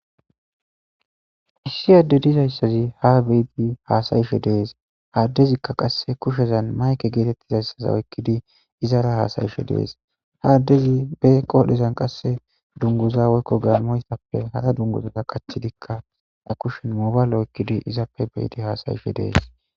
issi adde dizayssazi ha beiti haasayishe dees haaddezikka qasse kushezan mayke geetettizayssaza oykkidi izara haasayishe dees haaddezi be qoodhezan qasse dunguza woykko gamoystappe hara dunguzaa qachidikka a kushen mobayla oykkidi izappe beyidi haasayishe dees